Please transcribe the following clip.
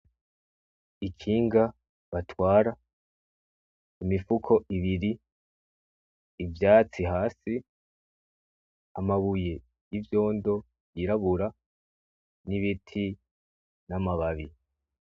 Ikinga batwara , imifuko ibiri ivyatsi Hasi amabuye yivyondo yirabura nibiti namababi .